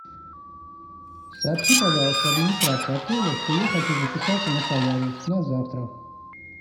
сообщи пожалуйста администрации отеля что я хочу записаться на солярий на завтра